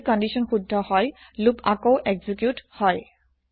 যদি কন্দিচ্যন শুদ্ধ হয় লোপ আকৌ এক্জিকিউত হয়